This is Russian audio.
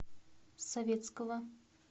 советского